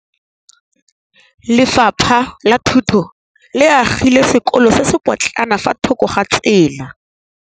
Lefapha la Thuto le agile sekôlô se se pôtlana fa thoko ga tsela.